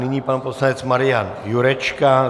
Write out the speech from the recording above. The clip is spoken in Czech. Nyní pan poslanec Marian Jurečka.